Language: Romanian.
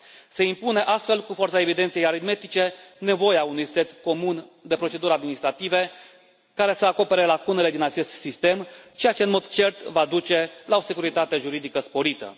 Se impune, astfel, cu forța evidenței aritmetice, nevoia unui set comun de proceduri administrative, care să acopere lacunele din acest sistem, ceea ce, în mod cert, va duce la o securitate juridică sporită.